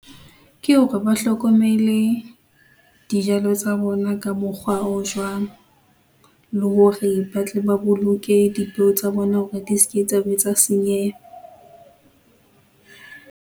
Ke hore ba hlokomele dijalo tsa bona ka mokgwa o jwang, le hore batle ba boloke dipeo tsa bona hore di ske tsa be tsa senyeha .